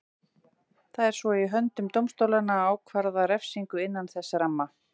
Það er svo í höndum dómstólanna að ákvarða refsingu innan þess ramma.